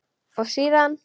Og síðan?